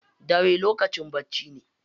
Dare lokacin bacci ne.